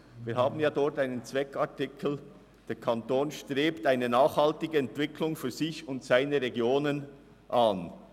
In diesem haben wir einen Zweckartikel, demgemäss der Kanton eine nachhaltige Entwicklung in den Regionen anstrebt.